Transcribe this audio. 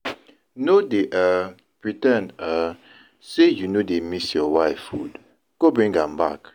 No dey um pre ten d um say you no dey miss your wife food, go bring am back